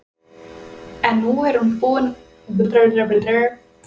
En nú er hún búin að sætta sig við tilhugsunina.